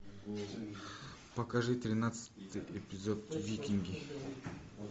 покажи тринадцатый эпизод викинги